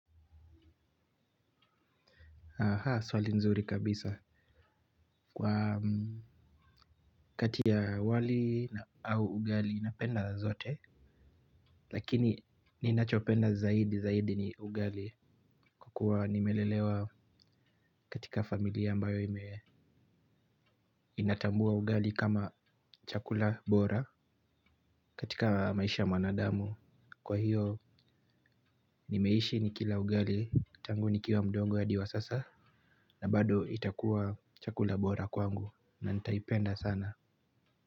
Haha swali nzuri kabisa. Kwa kati ya wali na au ugali napenda zote. Lakini ninachopenda zaidi zaidi ni ugali. Kwa kuwa nimelelewa katika familia ambayo imewe inatambua ugali kama chakula bora katika maisha ya mwanadamu. Kwa hiyo nimeishi nikila ugali tangu nikiwa mdogo hadi wa sasa. Na bado itakuwa chakula bora kwangu na nitaipenda sana.